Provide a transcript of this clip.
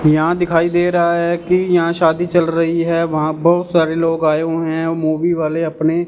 यहां दिखाई दे रहा है की यहां शादी चल रही हैं वहां बहुत सारे लोग आए हुए हैं मूवी वाले अपने।